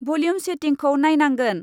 Volume सेटिंखौ नायनांगोन।